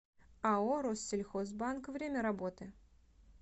ао россельхозбанк время работы